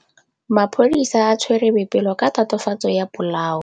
Maphodisa a tshwere Boipelo ka tatofatsô ya polaô.